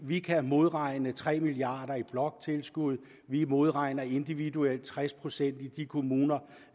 vi kan modregne tre milliard kroner i bloktilskud vi modregner individuelt tres procent i de kommuner